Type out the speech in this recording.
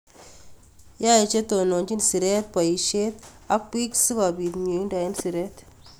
Yaey chetononchin sireet boisyet ak bik sikobiit myeindo en sireet